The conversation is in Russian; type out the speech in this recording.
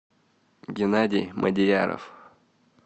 геннадий модияров